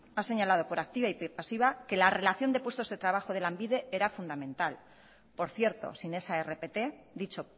ha señalado por activa y pasiva que la relación de puestos de trabajo de lanbide era fundamental por cierto sin esa rpt dicho